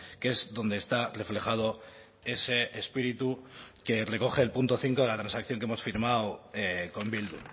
que es donde está reflejado ese espíritu que recoge el punto cinco de la transacción que hemos firmado con bildu